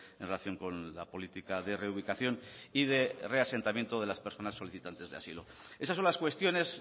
en relación con la política de reubicación y de reasentamiento de las personas solicitantes de asilo esas son las cuestiones